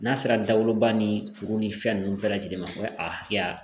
N'a sera dagoloba ni kuru ni fɛn nunnu bɛɛ lajɛlen ma o ye a hakɛya